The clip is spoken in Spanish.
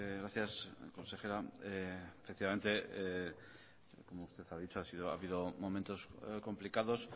gracias consejera efectivamente como usted ha dicho ha habido momentos complicados